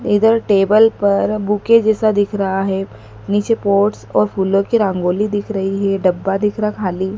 इधर टेबल पर बुके जैसा दिख रहा है नीचे पॉट्स और फूलों की रंगोली दिख रही है डब्बा दिख रहा खाली।